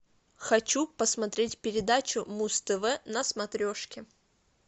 хочу посмотреть передачу муз тв на смотрешке